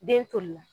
Den toli la